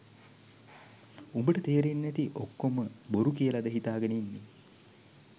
උඹට තේරෙන්නේ නැති ඔක්කෝම බොරු කියලද හිතාගෙන ඉන්නේ